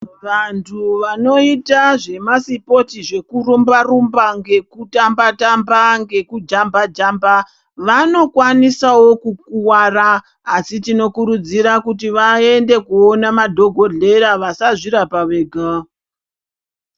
Vantu vanoita zvemasipotsi zvekurumba-rumba, ngekutamba-tamba, ngekujamba-jamba, vanokwanisawo kukuwara, asi tinokurudzira kuti vaende koona madhogodhera vasazvirapa vega.